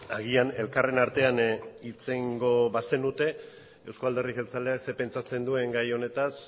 agian elkarren artean hitz egingo bazenute euzko alderdi jeltzaleak zer pentsatzen duen gai honetaz